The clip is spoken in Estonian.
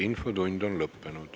Infotund on lõppenud.